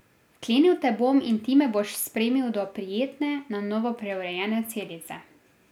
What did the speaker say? Vklenil te bom in ti me boš spremil do prijetne, na novo preurejene celice.